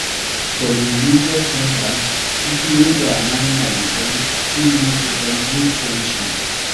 For di religious centers pipo wey their mind na di same fit meet to forn good friendship